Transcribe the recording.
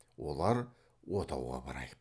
олар отауға барайық